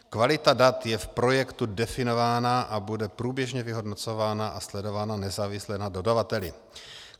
Kvalita dat je v projektu definována a bude průběžně vyhodnocována a sledována nezávisle na dodavateli.